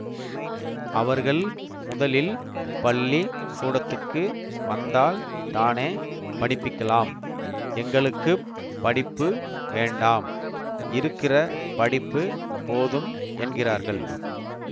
அவர்கள் முதலில் பள்ளி கூடத்துக்கு வந்தால் தானே படிப்பிக்கலாம் எங்களுக்கு படிப்பு வேண்டாம் இருக்கிற படிப்பு போதும் என்கிறார்கள்